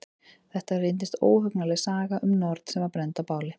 Þetta reyndist óhugnanleg saga um norn sem var brennd á báli.